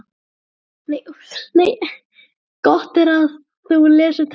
Gott er að þú lesir textann vel yfir eftir að þú hefur skrifað hann.